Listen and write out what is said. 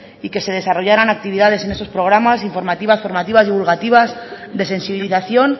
y que se desarrollaran actividades en eso programas informativas formativas divulgativas de sensibilización